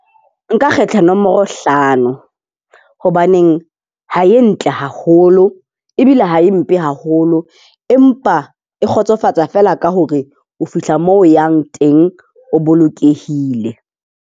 Nka kgetha nomoro hlano. Hobaneng ha e ntle haholo, ebile ha e mpe haholo. Empa e kgotsofatsa fela ka hore o fihla moo o yang teng, o bolokehile.